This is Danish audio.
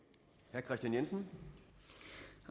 regeringen